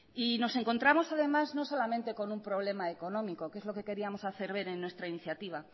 y no encontramos además no solamente con un problema económico que es lo que queríamos hacer ver en nuestra iniciativa